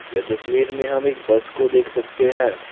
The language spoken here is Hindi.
यह तस्वीर में हम एक बस को देख सकते है।